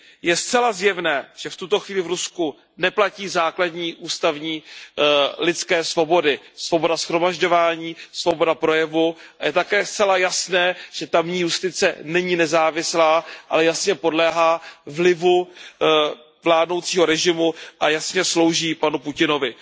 Je zcela zjevné, že v tuto chvíli v Rusku neplatí základní ústavní lidské svobody svoboda shromažďování, svoboda projevu a je také zcela jasné, že tamní justice není nezávislá, ale jasně podléhá vlivu vládnoucího režimu a jasně slouží panu Putinovi.